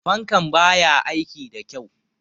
Fankan ba ya aiki da kyau.